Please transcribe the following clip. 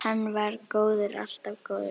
Hann var góður, alltaf góður.